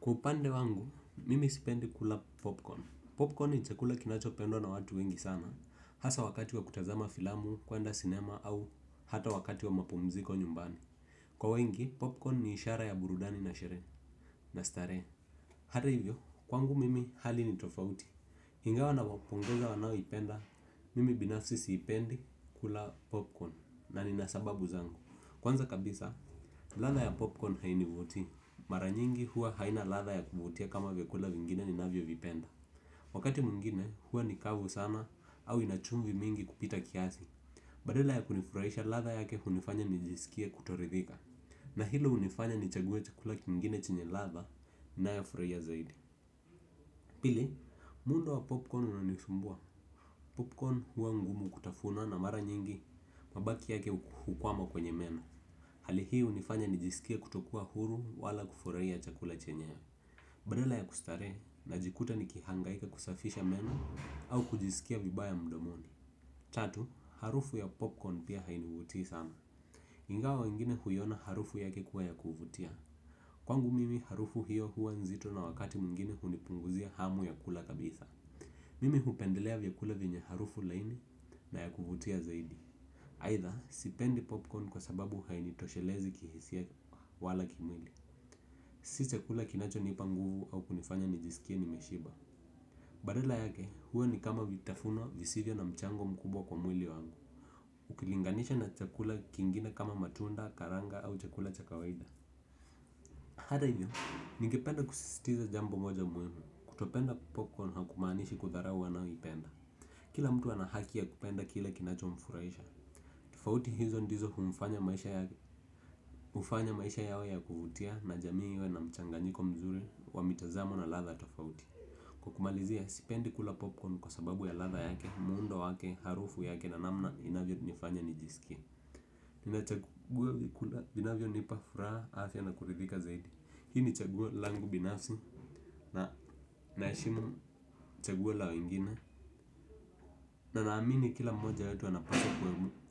Kwa upande wangu mimi sipendi kula popcorn Popcorn ni chakula kinacho pendwa na watu wengi sana, hasa wakati wa kutazama filamu, kwenda sinema au hata wakati wa mapumziko nyumbani. Kwa wengi, popcorn ni ishara ya burudani na sheree na staree. Hata hivyo, kwangu mimi hali ni tofauti ingawa nawapunguzia wanaoipendi mimi binafsi sipendi kula popcorn kwanza kabisa ladha ya popcorn hainivutii. Maranyingi huwa haina latha ya kuvutia kama vyakula vingine ninavyo vipenda. Wakati mwingine huwa ni kavu sana au inachumvi mingi kupita kiasi. Badala ya kunifuraisha latha yake unifanya nijisikia kutoridhika. Na hilo unifanya ni chague chakula kiningine chenye latha nayofuria zaidi. Pili, muundo wa popcorn unanisumbua. Popcorn huwa ngumu kutafuna na mara nyingi, mabaki yake hukwama kwenye meno. Hali hii hunifanya nijisikie kutokua huru wala kufuraia chakula chenyewe. Badala ya kustarehe najikuta nikihangaika kusafisha meno au kujiskia vibaya mdomoni tatu harufu ya popcorn pia hainivutii sana ingawa wengine huiona harufu yake kuwa ya kuvutia. Kwangu mimi harufu hiyo huwa nzito na wakati mwingine hunipunguzia hamu ya kula kabisa. Mimi hupendelea vyakula vyenye harufu laini na ya kuvutia zaidi aitha, sipendi popcorn kwa sababu hainitoshelezi kihisia wala kimwili. Si chakula kinacho nipa nguvu au kunifanya Nikos ink nimeshiba. Badala yake, huwa ni kama vitafunwa visivyo na mchango mkubwa kwa mwili wangu ukilinganisha na chakula kingine kama matunda karanga au chakula cha kawaida hata hivyo ningependa kusisitiza jambo moja muhimu kutopenda popcorn haimaanishi kudharau wanayoipenda. Kila mtu ana haki ya kupenda kile kinacho mfuraisha. Tufauti hizo ndizo hunifanya maisha yawe ya kuvutia na jamii iwe na mchanganyiko mzuri wa mitazamo na latha tofauti kwa kumalizia sipendi kula popcorn kwa sababu ya latha yake, muundo wake, harufu yake na namna inavyo nifanya nijisikie. Ninachagua vywkula vinavyo nipa furaha aafya na kuridhika zaidi. Hii ni chaguo langu binafsi na naeshimu chaguo la wengine na naamini kila mmoja wetu anapati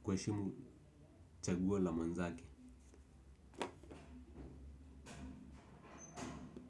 kueshimu chaguo la mwenzake.